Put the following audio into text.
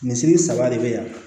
Misiri saba de be yan